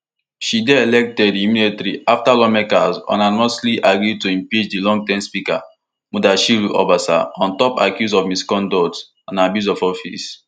she dey elected immediately afta lawmakers unanimously agree to impeach di longterm speaker mudashiru obasa on top accuse of misconduct and abuse of office